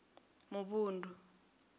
muvhundu